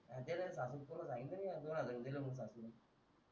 हां गेला ना तुला सांगितलं नाही दोन हजार रुपये दिले म्हणून सासूने